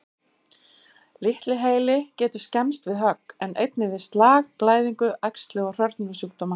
Litli heili getur skemmst við högg, en einnig við slag, blæðingu, æxli og hrörnunarsjúkdóma.